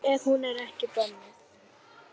Ef hún er ekki bönnuð.